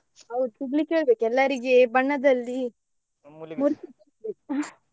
ಹೌದು ಸಿಗ್ಲಿಕ್ಕೆ ಹೇಳ್ಬೇಕು ಎಲ್ಲರಿಗೆ ಬಣ್ಣದಲ್ಲಿ .